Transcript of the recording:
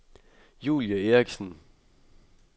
Julie Erichsen